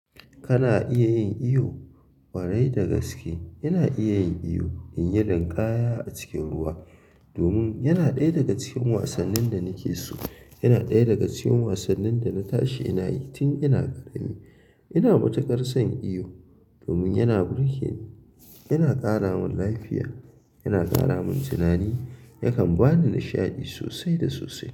Kana iya yin iyo? Ƙwarai da gaske ina iya yin iyo, in yi linƙaya a cikin ruwa. Domin yana ɗaya daga cikin wasannin da nake so. Yana ɗaya daga cikin wasannin da na tashi ina yi tun ina ƙarami. Ina matuƙar son iyo domin yana burge ni, yana ƙara mun lafiya, yana ƙara mun tunani, yakan ba ni nishaɗi sosai da sosai.